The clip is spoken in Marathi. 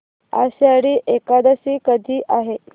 आषाढी एकादशी कधी आहे